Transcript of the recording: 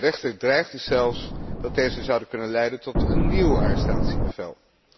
De rechter dreigde zelfs dat deze zouden kunnen leiden tot een nieuw arrestatiebevel.